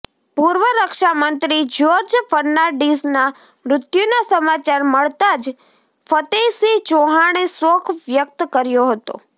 પૂર્વ રક્ષા મંત્રી જયોર્જ ફર્નાન્ડીસના મૃત્યુના સમાચાર મળતા જ ફતેહસિંહ ચૌહાણે શોક વ્યકત કર્યો હતો